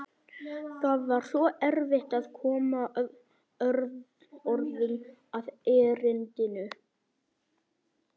Það var svo erfitt að koma orðum að erindinu.